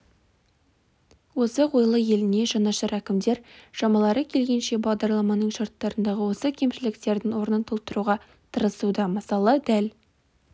озық ойлы еліне жанашыр әкімдер шамалары келгенше бағдарламаның шарттарындағы осы кемшіліктердің орнын толтыруға тырысуда мысалы дәл